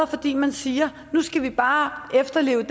fordi man siger nu skal vi bare efterleve